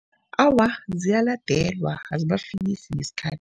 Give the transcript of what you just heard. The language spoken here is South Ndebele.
Awa, ziyaladelwa. Azibafikisi ngesikhathi.